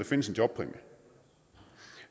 findes en jobpræmie